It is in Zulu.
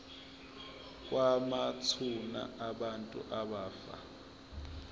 kwamathuna abantu abafa